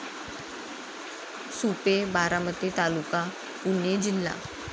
सुपे, बारामती तालुका. पुणे जिल्हा